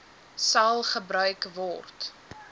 sal gebruik word